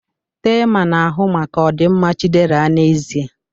Thelma na-ahụ maka ọdịmma Chiderah n'ezie.